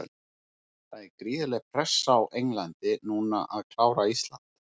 Það er gríðarleg pressa á Englandi núna að klára Ísland.